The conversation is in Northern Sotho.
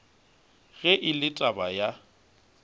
ge e le taba ya